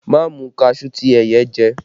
Ma mu kaṣuú ti ẹyẹ jẹ!